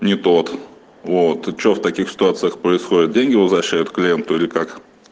ни тот вот что в таких ситуациях происходит деньги возвращают клиенту или как